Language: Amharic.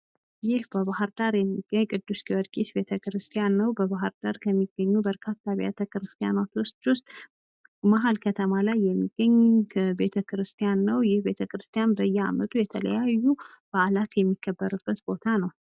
ይህ በባህርዳር የሚገኝ ቅዱስ ጊወርጊስ ቤተሰብ ክርስቲያን ነው። በባህርዳር ከሚገኙ በርካታ አቢያተ ክርስቲያኖች ውሰጥ መሀል ከተማ ላይ የሚገኝ ቤተክርስቲያን ነው። ይህ ቤተ ክርስቲያን በየአመቱ የተለያዩ ባዕላት የሚከበርበት ቦታው ነው።